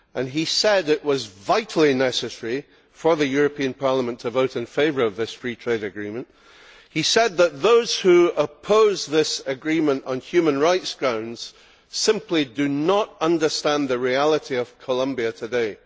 He said that it was vitally necessary for the European Parliament to vote in favour of this Free Trade Agreement. He said that those who oppose this agreement on human rights grounds simply do not understand the reality of Colombia today.